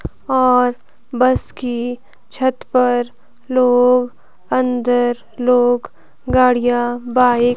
और बस की छत पर लोग अंदर लोग गाड़ियां बाइक --